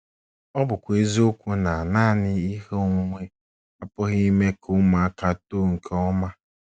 Ọ bụkwa eziokwu na nanị ihe onwunwe apụghị ime ka ụmụaka too nke ọma.